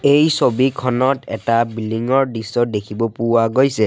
এই ছবিখনত এটা বিল্ডিং ৰ দৃশ্য দেখিব পোৱা গৈছে।